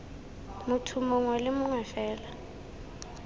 motho mongwe le mongwe fela